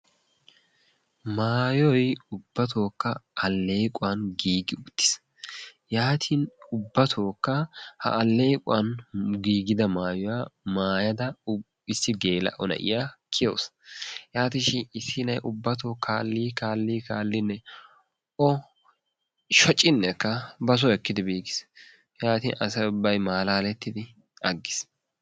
Mayoy ubbatookka alleequwan giigi uttiis. Yaatin ubbattookka ha allequwan giigida mayuwa mayada issi geela'o na'iya kiyawusu. Yaatishin issi nayi ubbatoo kaallii ksslli kaallinne o shocinnekka basoo ekkidi biiggis. Yaatin asay ubbay malaalettidi aggiis.